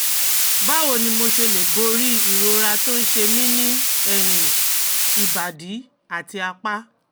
Báwo ni mo ṣe lè borí ìrora tó ń ṣe mí ní ẹ̀yìn, ìbàdí àti apá?